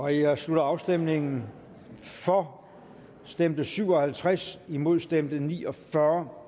her slutter afstemningen for stemte syv og halvtreds imod stemte ni og fyrre